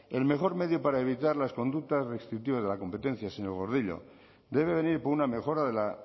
el mejor medio para evitar las conductas restrictivas de la competencia señor gordillo debe venir por una mejora de la